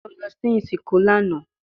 Njẹ o lọ si isinku lana?